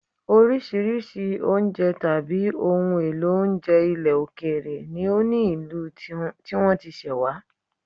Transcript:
Oríṣiríṣi oúnjẹ tàbí ohun èlò oúnjẹ ilẹ̀ òkèèrè ni ó ní ìlú tí wọ́n ti ṣẹ̀ wá